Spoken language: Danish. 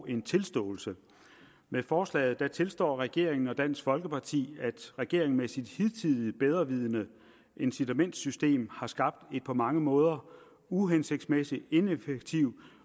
og en tilståelse med forslaget tilstår regeringen og dansk folkeparti at regeringen med sit hidtidige bedrevidende incitamentssystem har skabt en på mange måder uhensigtsmæssig ineffektiv